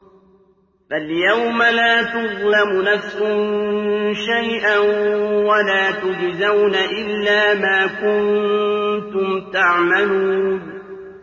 فَالْيَوْمَ لَا تُظْلَمُ نَفْسٌ شَيْئًا وَلَا تُجْزَوْنَ إِلَّا مَا كُنتُمْ تَعْمَلُونَ